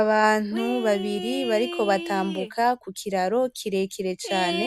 Abantu babiri bariko batambuka kukiraro kirekire cane,